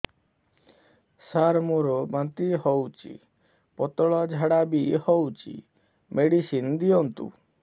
ସାର ମୋର ବାନ୍ତି ହଉଚି ପତଲା ଝାଡା ବି ହଉଚି ମେଡିସିନ ଦିଅନ୍ତୁ